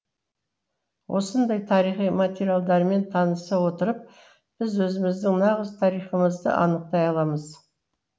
осындай тарихи материалдармен таныса отырып біз өзіміздің нағыз тарихымызды анықтай аламыз